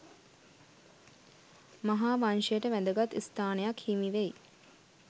මහා වංශයට වැදගත් ස්ථානයක් හිමිවෙයි.